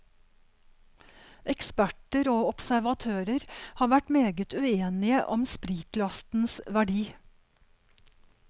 Eksperter og observatører har vært meget uenige om spritlastens verdi.